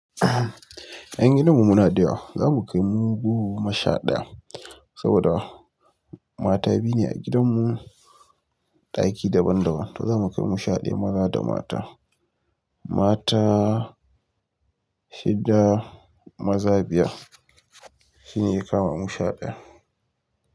Yan gidanmu muna da yawa zamunkai irin goma sha daya saboda mata biyu ne a gidan mu, daki daban daban to zamu kai mu sha daya maza da mata. Mata shida, maza biyar. Shine ya kama mu sha daya.